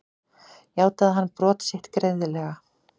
Játaði hann brot sín greiðlega